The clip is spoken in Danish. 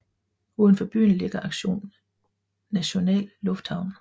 Uden for byen ligger Aktion National Lufthavn